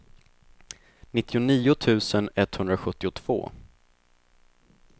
nittionio tusen etthundrasjuttiotvå